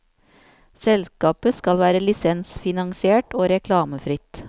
Selskapet skal være lisensfinansiert og reklamefritt.